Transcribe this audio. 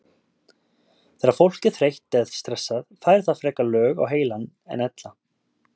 Þegar fólk er þreytt eða stressað fær það frekar lög á heilann en ella.